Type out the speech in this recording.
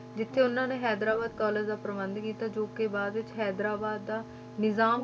ਜਿੱਥੇ ਉਹਨਾਂ ਨੇ ਹੈਦਰਾਬਾਦ college ਦਾ ਪ੍ਰਬੰਧ ਕੀਤਾ ਜੋ ਕਿ ਬਾਅਦ ਵਿੱਚ ਹੈਦਰਾਬਾਦ ਦਾ ਨਿਜ਼ਾਮ